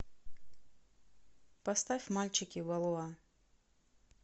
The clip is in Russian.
поставь мальчики волуа